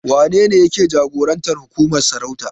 Wanene yake jagorancin hukumar sarauta?